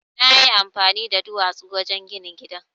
Na yi amfani da duwatsu wajen ginin gidan.